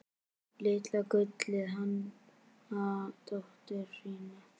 Litla gullið hana dóttur sína.